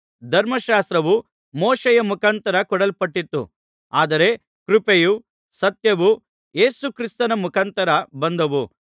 ಧರ್ಮಶಾಸ್ತ್ರವು ಮೋಶೆಯ ಮುಖಾಂತರ ಕೊಡಲ್ಪಟ್ಟಿತು ಆದರೆ ಕೃಪೆಯೂ ಸತ್ಯವೂ ಯೇಸು ಕ್ರಿಸ್ತನ ಮುಖಾಂತರ ಬಂದವು